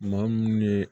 Maa mun ye